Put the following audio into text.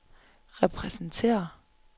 repræsenterer